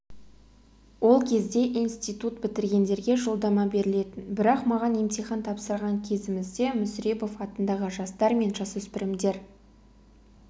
ол кезде институт бітіргендерге жолдама берілетін бірақ маған емтихан тапсырған кезімізде мүсірепов атындағы жастар мен жасөспірімдер